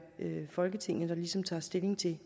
folketinget der ligesom tager stilling til